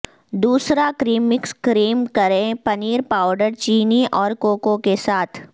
دوسرا cream mix cream پنیر powder چینی اور کوکو کے ساتھ